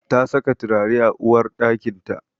Ta saka turare a uwarɗakinta.